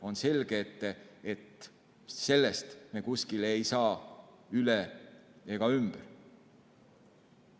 On selge, et sellest ei saa me üle ega ümber.